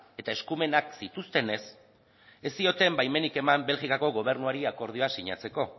eta eskumenak zituztenez ez zioten baimenik eman belgikako gobernuari akordioa sinatzeko